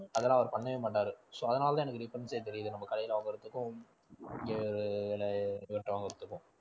அதெல்லாம் அவர் பண்ணவே மாட்டாரு so அதனாலதான் எனக்கு difference ஏ தெரியுது நம்ம கடையில வாங்கறதுக்கும் இங்க விலை இவர்ட்ட வாங்கறதுக்கும்